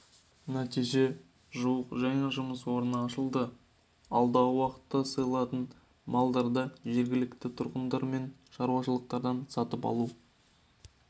нәтижесінде жуық жаңа жұмыс орны ашылды алдағы уақытта сойылатын малдарды жергілікті тұрғындар мен шаруашылықтардан сатып алу